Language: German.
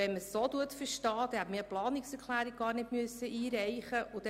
Wenn man es so versteht, dann hätte man diese Planungserklärung gar nicht einreichen müssen;